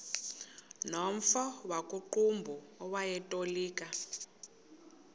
nomfo wakuqumbu owayetolika